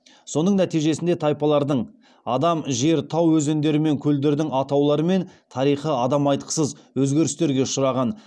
соның нәтижесінде тайпалардың адам жер тау өзендер мен көлдердің атаулары мен тарихы адам айтқысыз өзгерістерге ұшыраған